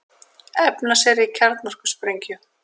Efna sér í kjarnorkusprengju